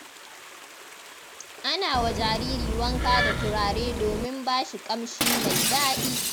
Ana wa jariri wanka da turare domin ba shi ƙamshi mai daɗi.